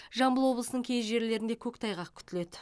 жамбыл облысының кей жерлерінде көктайғақ күтіледі